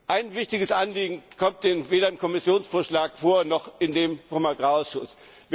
Ein wichtiges Anliegen kommt weder in dem Kommissionsvorschlag vor, noch in dem des Agrarausschusses.